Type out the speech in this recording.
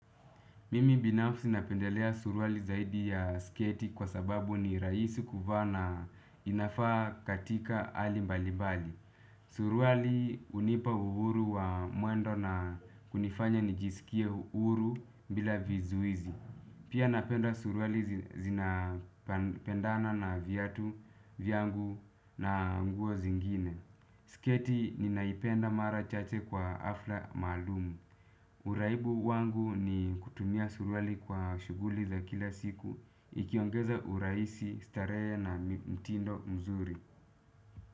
Mimi binafsi napendelea suruali zaidi ya sketi kwa sababu ni rahisi kuvaa na inafaa katika hali mbalimbali. Suruali hunipa uhuru wa mwendo na hunifanya nijisikie uhuru bila vizuizi. Pia napenda suruali zinazopendana na vyatu, vyangu na nguo zingine. Sketi ninaipenda mara chache kwa hafla maalum. Uraibu wangu ni kutumia suruali kwa shughuli za kila siku, ikiongeza urahisi, starehe na mtindo mzuri.